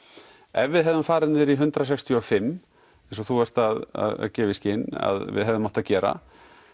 ef við hefðum farið niður í hundrað sextíu og fimm eins og þú ert að gefa í skyn að við hefðum átt að gera